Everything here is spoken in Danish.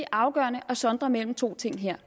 afgørende at sondre mellem to ting her